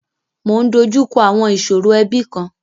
Mọ ń dojú kọ àwọn ìṣòro ẹbi kan.